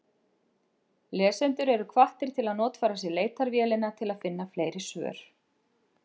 Lesendur eru hvattir til að notfæra sér leitarvélina til að finna fleiri svör.